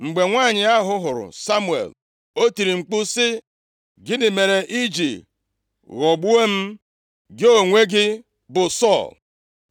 Mgbe nwanyị ahụ hụrụ Samuel, o tiri mkpu sị, “Gịnị mere iji ghọgbuo m? Gị onwe gị bụ Sọl!”